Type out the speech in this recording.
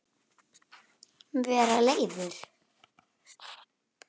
Vera leiður?